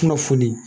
Kunnafoni